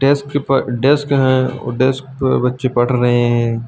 Desk desk है और desk पर बच्चे पढ़ रहे हैं।